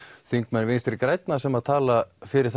þingmenn vinstri grænna sem tala fyrir